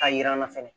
K'a yir'an na fɛnɛ